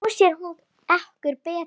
Nú sér hún okkur betur